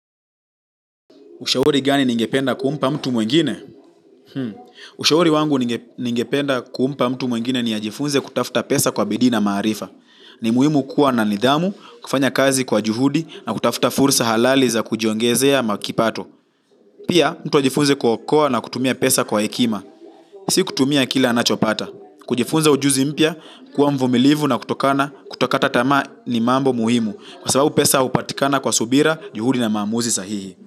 Ushauri gani ningependa kumpa mtu mwingine? Ushauri wangu ningependa kumpa mtu mwingine ni ajifunze kutafuta pesa kwa bidii na maarifa. Ni muhimu kuwa na nidhamu, kufanya kazi kwa juhudi na kutafuta fursa halali za kujiongezea kipato. Pia, mtu ajifunze kuokoa na kutumia pesa kwa hekima. Si kutumia kile anachopata. Kujifunza ujuzi mpya, kuwa mvumilivu na kutokata tamaa ni mambo muhimu. Kwa sababu pesa hupatikana kwa subira, juhudi na maamuzi sahihi.